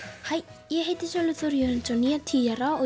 hæ ég heiti Sölvi Þór Jörundsson ég er tíu ára og